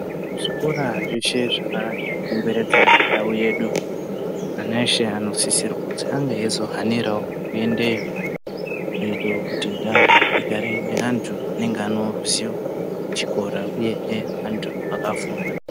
Kuzvikora zveshe zvakakomberedza ndau yedu ana eshe anosisirwa kuti ange eizohanirawo kuendeyo kuti ndau igarewo antu aneruziyo rwechikora uye kuti igarewo antu akafunda.